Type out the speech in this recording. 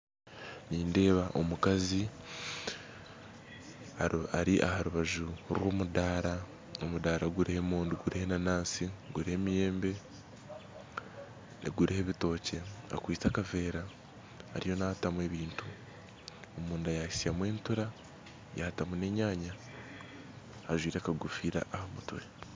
Nindeeba omukazi ari aharubaju rw'omudara omudara guriho emondi guriho enanansi guriho emiyembe guriho ebitookye akwitse akaveera ariyo naatamu ebintu omunda yahitsyamu entura yaatamu n'enyanya ajwaire akagofira aha mutwe.